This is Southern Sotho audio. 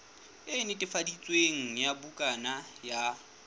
e netefaditsweng ya bukana ya